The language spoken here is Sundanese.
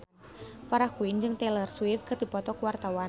Farah Quinn jeung Taylor Swift keur dipoto ku wartawan